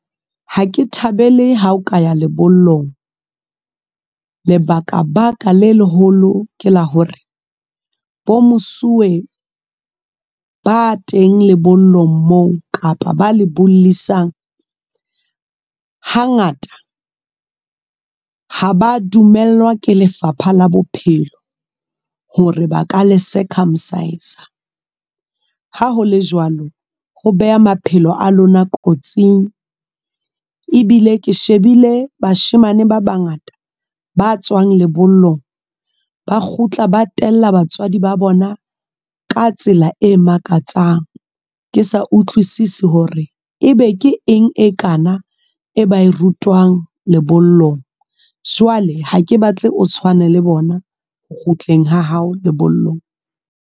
Ha ke thabele ha o ka ya lebollong lebaka baka le leholo ke la hore bo mosuwe ba teng lebollong mo kapa ba le bollisang, hangata ha ba dumellwa ke Lefapha la Bophelo hore ba ka le circumcise-sa ha hole jwalo ho beha maphelo a lona kotsing ebile ke shebile bashemane ba bangata ba tswang lebollong ba kgutla ba tella batswadi ba bona ka tsela e makatsang. Ke sa utlwisise hore e be ke eng e kana e bae rutwang lebollong jwale ha ke batle o tshwane le bona ho kgutleng ha hao lebollong.